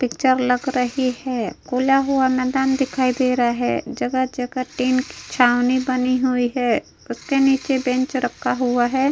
Picture लग रही है खुला हुआ मैंदान दिखाई दे रहा है जगह-जगह टिन की छावनी बनी हुई है उसके नीचे एक बेंच रखा हुआ है।